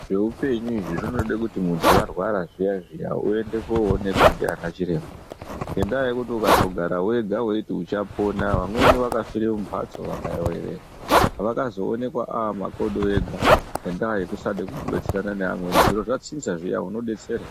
Zvoupenyu izvi zvinoda kuti muntu warwara zviya zviya uende koonekwa nana chiremba ngenda yekuti ukangogara wega Weiti uchapona vamweni vakafira mumbatso Vakaoreramo vakazongoonekwa ava makodo ega Ngenda yekudada kugarisana anevamwnei zviro zvachinja munodetserwa.